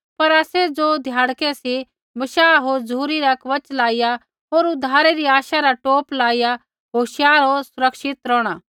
पर आसै ज़ो ध्याड़कै सी बशाह होर झ़ुरी रा कवच लाइया होर उद्धारै रै आशा रा टोप लाइया होशियार होर सुरक्षित रौहणा